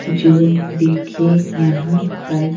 जो देखिए यहां पर।